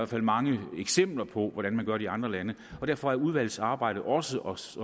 fald mange eksempler på hvordan man gør det i andre lande derfor er udvalgets arbejde også også